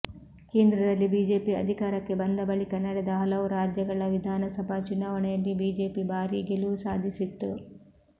ಕೇಂದ್ರದಲ್ಲಿ ಬಿಜೆಪಿ ಅಧಿಕಾರಕ್ಕೆ ಬಂದ ಬಳಿಕ ನಡೆದ ಹಲವು ರಾಜ್ಯಗಳ ವಿಧಾನಸಭಾ ಚುನಾವಣೆಯಲ್ಲಿ ಬಿಜೆಪಿ ಭಾರೀ ಗೆಲುವು ಸಾಧಿಸಿತ್ತು